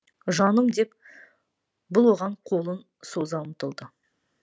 жаным деп бұл оған қолын соза ұмтылды